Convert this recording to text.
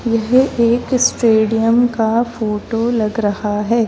यह एक स्टेडियम का फोटो लग रहा है।